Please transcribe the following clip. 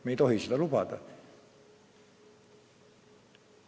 Me ei tohi seda lubada.